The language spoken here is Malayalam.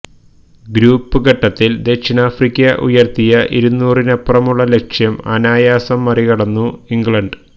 ഗ്രൂപ്പ് ഘട്ടത്തിൽ ദക്ഷിണാഫ്രിക്ക ഉയർത്തിയ ഇരുന്നൂറിനപ്പുറമുള്ള ലക്ഷ്യം അനായാസം മറികടന്നു ഇംഗ്ലണ്ട്